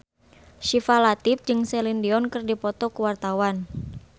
Syifa Latief jeung Celine Dion keur dipoto ku wartawan